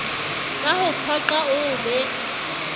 ka ho phoqa oo be